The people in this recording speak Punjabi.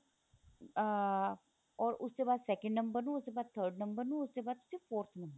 ਅਹ or ਉਸ ਦੇ ਬਾਅਦ second ਨੰਬਰ ਨੂੰ ਉਸ ਦੇ ਬਾਅਦ third ਨੰਬਰ ਨੂੰ ਉਸ ਦੇ ਬਾਅਦ ਫ਼ਿਰ forth ਨੰਬਰ ਨੂੰ